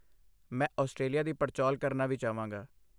ਮੈਂ ਆਸਟ੍ਰੇਲੀਆ ਦੀ ਪੜਚੋਲ ਕਰਨਾ ਵੀ ਚਾਹਾਂਗਾ।